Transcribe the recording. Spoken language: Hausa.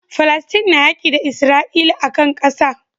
Falastin na yaƙi da isra'ila akan ƙasa